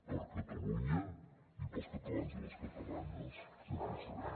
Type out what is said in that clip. per a catalunya i per als catalans i les catalanes sempre hi serem